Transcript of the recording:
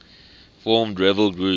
formed rebel group